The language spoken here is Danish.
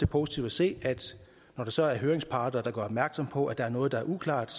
positivt at se at når der så er høringsparter der gør opmærksom på at der er noget der er uklart